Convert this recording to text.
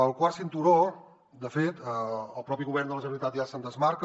del quart cinturó de fet el propi govern de la generalitat ja se’n desmarca